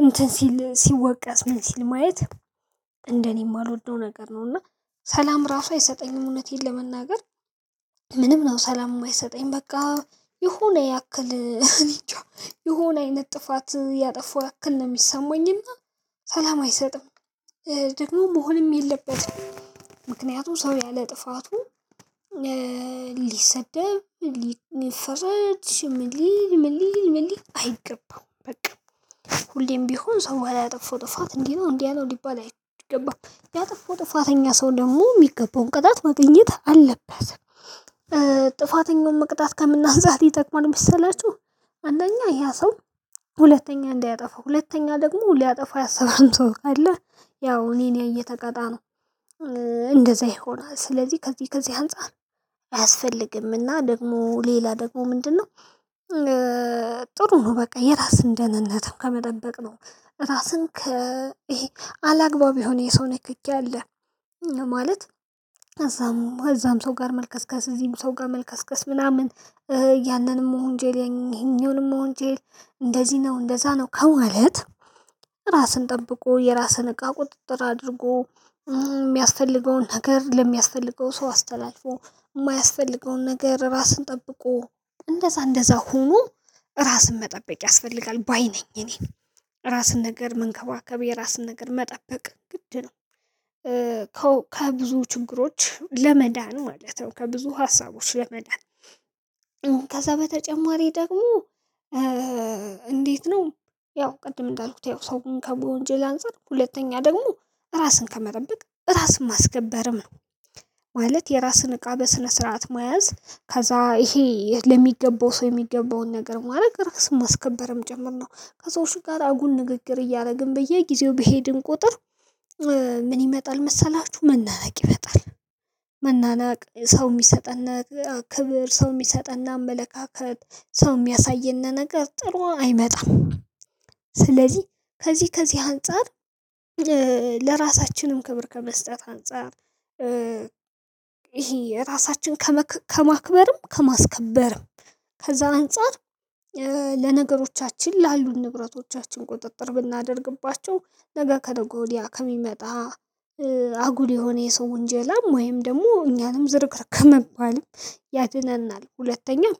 እንትን ሲል ሲወቀስ ምን ሲል ማየት እንደኔ የማልወደው ነገር ነው። እና ሰላም ራሱ አይሰጠኝም እውነቴን ለመናገር። ምንም ነው ሰላም የማይሰጠኝ በቃ የሆነ ያክል የሆነ አይነት ጥፋት ያጠፉ ያክል ነው የሚሰማኝና ሰላም አይሰጥም። ደግሞ መሆንም የለበትም ምክንያቱም ሰው ያለ ጥፋቱ። ሊሰደብ ሊፈረድ ምን ሊል ምን ሊል ምን ሊል አይገባም። በቃ ሁሌም ቢሆን ሰው ባላጠፋው ጥፋት እንዲህ ነው እንዲያ ነው ሊባል አይገባም። ያጠፋው ጥፋተኛ ሰው ደግሞ የሚገባውን ቅጣት ማግኘት አለበት። ጥፋተኛውን መቅጣት ከምን አንፃር ይጠቅማል መሰላችሁ? አንደኛ ያ ሰው ሁለተኛ እንዳያጠፋው ሁለተኛ ደግሞ ሊያጠፋው ያሰበም ሰው ካለ ያው እኔን ያየ ተቀጣ ነው። እንደዛ ይሆናል ስለዚህ ከዚህ ከዚህ አንፃር። አያስፈልግምና ደግሞ ሌላ ደግሞ ምንድነው? ጥሩ ነው በቃ የራስን ደህንነትም ከመደበቅ ነው። ራስን ከ ይሄ አላግባብ የሆነ የሰው ንክኪ አለ። ማለት እዛም እዛም ሰው ጋር መልከስከስ እዚህም ሰው ጋር መልከስከስ ምናምን። ያንንም መሆንጀል ይሄኛውንም መወንጀል እንደዚህ ነው እንደዛ ነው። ከማለት ራስን ጠብቆ የራስን እቃ ቁጥጥር አድርጎ የሚያስፈልገውን ነገር ለሚያስፈልገው ሰው አስተላልፎ የማያስፈልገውን ነገር ራስን ጠብቆ እንደዛ እንደዛ ሆኖ ራስን መጠበቅ ያስፈልጋል። ባይ ነኝ እኔ ራስን ነገር መንከባከብ የራስን ነገር መጠበቅ ግድ ነው። ከብዙ ችግሮች ለመዳን ማለት ነው ከብዙ ሀሳቦች ለመዳን። ከዛ በተጨማሪ ደግሞ እንዴት ነው? ያው ቅድም እንዳልኩት ያው ሰውን ከወንጀል አንፃር ሁለተኛ ደግሞ ራስን ከመጠበቅ ራስን ማስከበርም ነው። ማለት የራስን እቃ በስነ ስርዓት መያዝ ከዛ ይሄ ለሚገባው ሰው የሚገባውን ነገር ማድረግ ራስን ማስከበርም ጭምር ነው። ከሰዎች ጋር አጉል ንግግር እያደረግን በየጊዜው በሄድን ቁጥር። ምን ይመጣል መሰላችሁ መናናቅ ይመጣል? መናናቅ ሰው የሚሰጠን ክብር ሰው የሚሰጠን አመለካከት ሰው የሚያሳየን ነገር ጥሩ አይመጣም። ስለዚህ ከዚህ ከዚህ አንፃር። ለራሳችንም ክብር ከመስጠት አንፃር። ይሄ የራሳችን ከማክበርም ከማስከበርም ከዛ አንፃር። ለነገሮቻችን ላሉን ንብረቶቻችን ቁጥጥር ብናደርግባቸው ነገ ከነገ ወዲያ ከሚመጣ አጉል የሆነ የሰው ውንጀላም ወይም ደግሞ እኛንም ዝርክርክ ከመባልም ያድነናል። ሁለተኛው